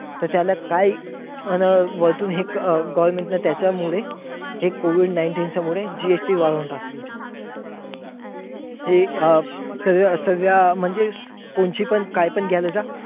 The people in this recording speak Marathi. तर त्याला काय वरतून government ने त्याच्या मुळे हे COVID nineteen मुळे GST वाढवून टाकली. हे अं सगळ्या म्हणजे कोणची पण काहीपण घ्यायला जा.